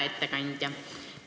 Hea ettekandja!